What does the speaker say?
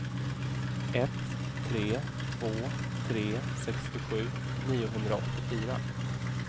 ett tre två tre sextiosju niohundraåttiofyra